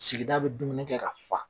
Sigida bɛ dumuni kɛ ka fa.